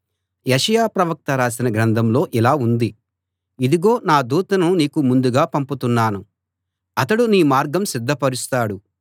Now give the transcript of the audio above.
యెషయా ప్రవక్త రాసిన గ్రంథంలో ఇలా ఉంది ఇదిగో నా దూతను నీకు ముందుగా పంపుతున్నాను అతడు నీ మార్గం సిద్ధపరుస్తాడు